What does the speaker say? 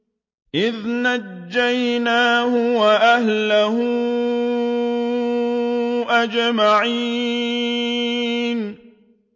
إِذْ نَجَّيْنَاهُ وَأَهْلَهُ أَجْمَعِينَ